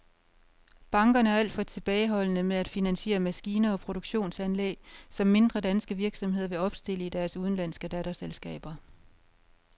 Bankerne er alt for tilbageholdende med at finansiere maskiner og produktionsanlæg, som mindre danske virksomheder vil opstille i deres udenlandske datterselskaber.